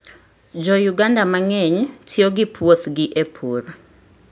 Jouganda mang'eny tiyo gi puothgi e pur.